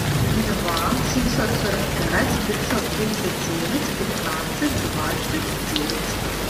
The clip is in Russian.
два семьсот сорок пять пятьсот тридцать девять пятнадцать двадцать девять